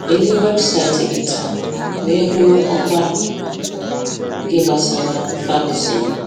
Léléé wébụsáịtị gị tàá wéé hụ ọ́kwà gị gbasàrà Ferguson